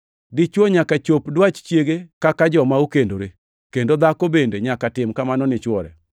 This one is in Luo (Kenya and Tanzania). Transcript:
Dichwo nyaka chop dwach chiege kaka joma okendore, kendo dhako bende nyaka tim kamano ni chwore.